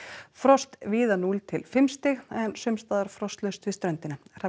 frost víða núll til fimm stig en sums staðar frostlaust við ströndina Hrafn